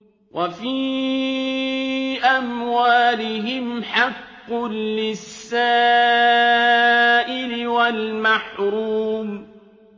وَفِي أَمْوَالِهِمْ حَقٌّ لِّلسَّائِلِ وَالْمَحْرُومِ